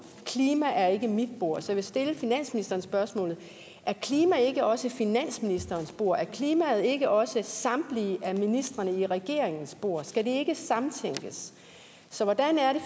klima er ikke mit bord så jeg vil stille finansministeren spørgsmålet er klima ikke også finansministerens bord er klimaet ikke også samtlige af ministrene i regeringens bord skal det ikke samtænkes så vil